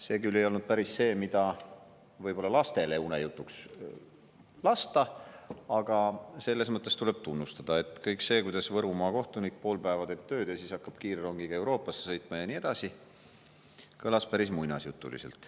See küll ei olnud päris see, mida võib-olla lastele unejutuks lasta, aga selles mõttes tuleb teda tunnustada, et kõik see, kuidas Võrumaa kohtunik pool päeva teeb tööd ja siis hakkab kiirrongiga Euroopasse sõitma ja nii edasi, kõlas päris muinasjutuliselt.